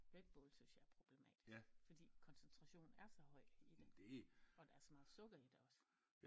Redbull synes jeg er problematisk fordi koncentrationen er så høj i det og der er så meget sukker i det også